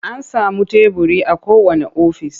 An samun teburi a kowanne ofis.